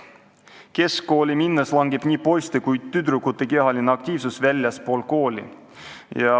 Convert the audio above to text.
Keskkooli minnes langeb nii poiste kui tüdrukute kehaline aktiivsus väljaspool kooli.